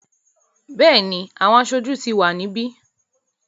Bẹ́ẹ̀ni, àwọn aṣojú ti wà níbí.